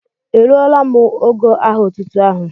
E rụ́ọ́la m ógó aha otútú áhù?